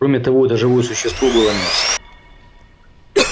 кроме того это живое существо было мясо